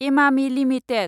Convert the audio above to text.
Emami limited